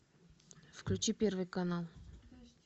включи первый канал